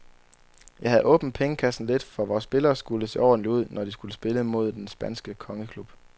Jeg havde åbnet pengekassen lidt, for vore spillere skulle se ordentlige ud, når de skulle spille mod den spanske kongeklub.